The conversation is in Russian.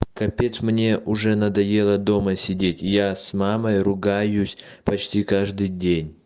капец мне уже надоело дома сидеть я с мамой ругаюсь почти каждый день